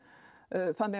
þannig